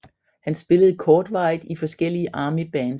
Han spillede kortvarigt i forskellige Armybands